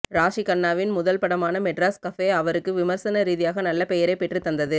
ராஷி கண்ணாவின் முதல் படமான மெட்ராஸ் கபே அவருக்கு விமர்சன ரீதியாக நல்ல பெயரைப் பெற்றுத் தந்தது